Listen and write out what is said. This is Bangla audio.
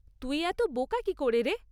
তুই এত বোকা কী করে রে?